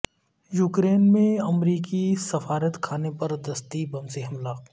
Ukraine میں امریکی سفارتخانے پر دستی بم سے حملہ